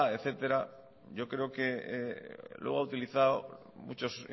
etcétera yo creo que luego ha utilizado muchos